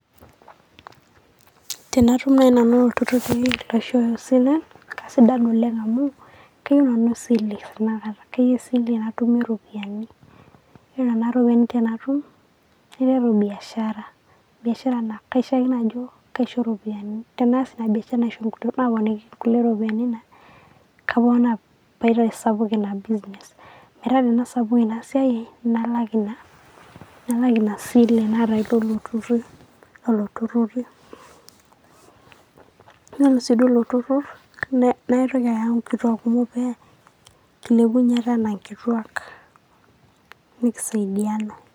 Tanatum naaji Nanu ilturrurri arashu aa silen' naa kasidan oleng' amu kayieu Nanu esile naa naka kayieu esile natumie eropiyiani, Yielo Nena ropiyiani tenatum naiteru beashara, beashara naa keishiakino ajo kaisho iropiyiani, teneas Ina beashara naapiki enkuti ropiyiani naa kaponaa paitoki aitasapuk Ina business Metaa tenesapuku Ina siai ai nalak Ina sile naata teilo turrur eilo turrurri. Ore sii duo ilo turrur naitoki Aya enkituak kumok pee kilepunye ate anaa enkituak nikisaidiana.